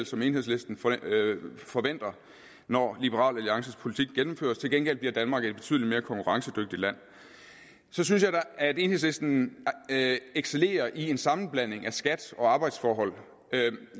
som enhedslisten forventer når liberal alliances politik gennemføres til gengæld bliver danmark et betydelig mere konkurrencedygtigt land så synes jeg at enhedslisten excellerer i en sammenblanding af skat og arbejdsforhold